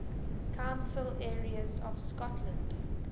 council areas of scotland